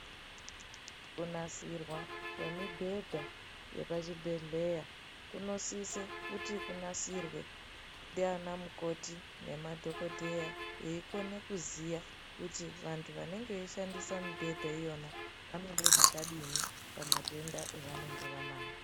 Kunasirwa kwemibhedha yepachibhedhleya kunosise kuti kunasirwe ndiana mukoti nemadhokodheya veikone kuziya kuti vantu vanenge veishandisa mibhedha iyona vanoda zvakadini pamatenda evanenge vanawo.